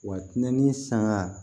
Wa nɛni saŋa